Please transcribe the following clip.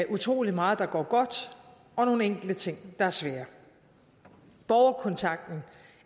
utrolig meget der går godt og nogle enkelte ting der er svære borgerkontakten